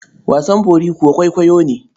Wasan bori kuwa kwaikwayo ne.